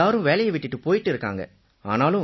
எல்லாரும் வேலையை விட்டுட்டுப் போயிட்டு இருக்காங்க